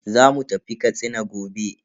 Zamu tafi Katsina gobe.